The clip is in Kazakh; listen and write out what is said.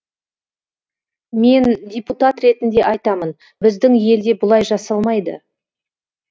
мен депутат ретінде айтамын біздің елде бұлай жасалмайды